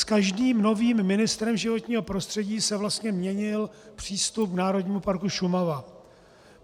S každým novým ministrem životního prostředí se vlastně měnil přístup k Národnímu parku Šumava.